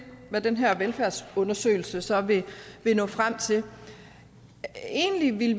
hvad den her velfærdsundersøgelse så vil nå frem til egentlig ville